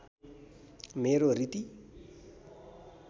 मेरो रीति